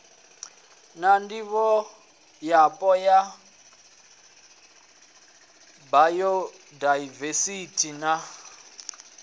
na ndivhoyapo ya bayodaivesithi na